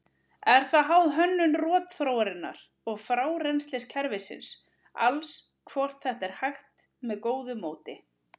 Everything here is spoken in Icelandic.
Er það háð hönnun rotþróarinnar og frárennsliskerfisins alls hvort þetta er hægt með góðu móti.